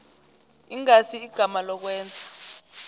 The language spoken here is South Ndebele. ingasi igama lokwenza